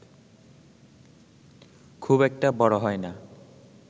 খুব একটা বড় হয়না